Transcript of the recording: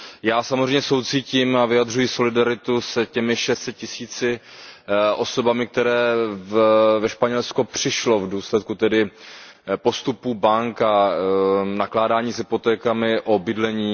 Já samozřejmě soucítím a vyjadřuji solidaritu s těmi šesti sty tisíci osobami, které ve Španělsku přišly v důsledku postupu bank a nakládání s hypotékami o bydlení.